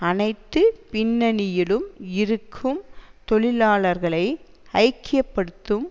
அனைத்து பின்னணியிலும் இருக்கும் தொழிலாளர்களை ஐக்கிய படுத்தும்